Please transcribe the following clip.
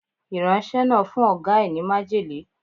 Ìránṣẹ́ náà fún Ọ̀gá ẹ ní májèlé.